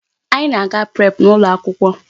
Anyị na-aga prep n'ụlọ akwụkwọ.